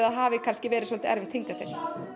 hafi kannski verið svolítið erfitt hingað til